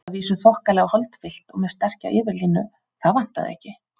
Að vísu þokkalega holdfyllt og með sterka yfirlínu, það vantaði ekki.